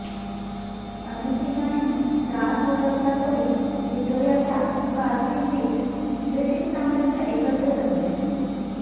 अनेक ठिकाणी त्रास होत असला तरीही व्हिक्टोरियाच्या कारकिर्दीत ब्रिटीश साम्राज्य एकत्र जमले